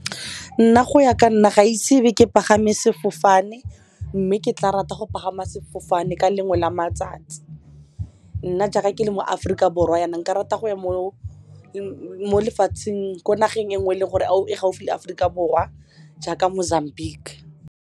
Nna go ya ka nna ga ise be ke pagama sefofane mme ke tla rata go pagama sefofane ka lengwe la matsatsi, nna jaaka ke le mo Aforika Borwa yana nka rata go ya mo lefatsheng ko nageng e nngwe e leng gore a o e gaufi le Aforika Borwa jaaka Mozambique.